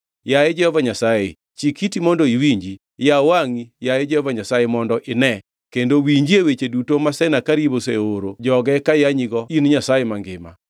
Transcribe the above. Yaye Jehova Nyasaye, chik iti mondo iwinji, yaw wangʼi, yaye Jehova Nyasaye mondo ine, kendo winjie weche duto ma Senakerib oseoro joge kayanyigo in Nyasaye mangima.